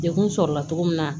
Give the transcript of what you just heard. Dekun sɔrɔla cogo min na